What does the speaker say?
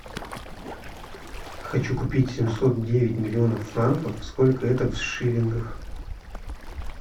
хочу купить семьсот девять миллионов франков сколько это в шиллингах